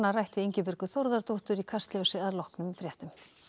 rætt við Ingibjörgu Þórðardóttur í Kastljósinu að loknum fréttum